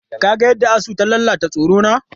Ka ga yadda asu ta lalata tsirona?